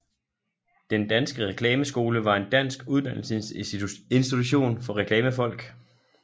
Den Danske Reklameskole var en dansk uddannelsesinstitution for reklamefolk